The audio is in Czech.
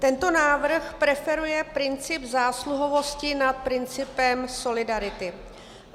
Tento návrh preferuje princip zásluhovosti nad principem solidarity.